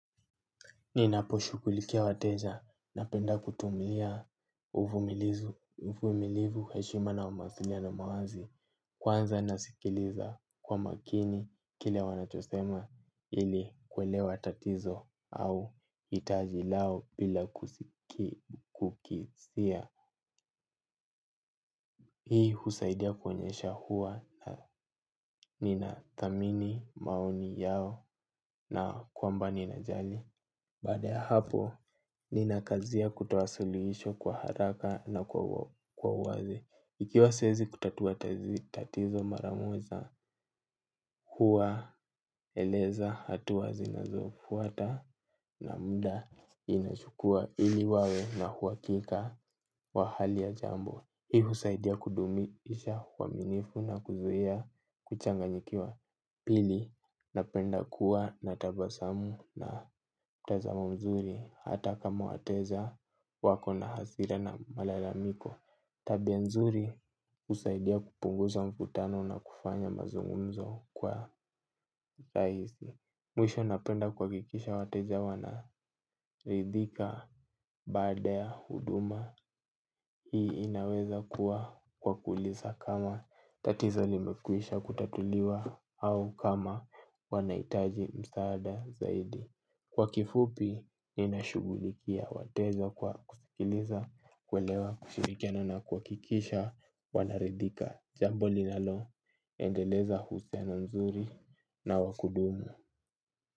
Ninaposhughulikia wateja na penda kutumilia uvumilivu heshima na umawasiliano na mawazi. Kwanza nasikiliza kwa makini kile wanachosema ili kuelewa tatizo au itaji lao bila kukisia. Hii husaidia kuoenyesha huwa na ninathamini maoni yao na kwamba ninajali. Baada ya hapo, ni nakazia kutoa sulisho kwa haraka na kwa uwazi. Ikiwa siwezi kutatua tatizo mara moja, huwa eleza hatua zinazofuata na muda inachukua ili wawe na uwakika wa hali ya jambo. Hii husaidia kudumi isha uwaminifu na kuzuia kuchanganyikiwa pili na penda kuwa na tabasamu na mtazamo mzuri hata kama wateja wako na hasira na malalamiko. Tabia nzuri husaidia kupunguza mkutano na kufanya mazungunzo kwa saizi. Mwisho napenda kuhakikisha wateja wana ridhika baada ya huduma. Hii inaweza kuwa kwa kuuliza kama tatizo limekwisha kutatuliwa au kama wanahitaji msaada zaidi. Kwa kifupi, inashughulikia wateja kwa kusikiliza kuelewa kushirikiana na kuhakikisha wana ridhika. Jambo linalo endeleza uhusiano mzuri na wakudumu.